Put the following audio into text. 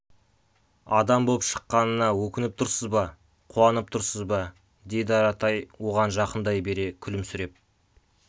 адам боп шыққанына өкініп тұрсыз ба қуанып тұрсыз ба деді аратай оған жақындай бере күлімсіреп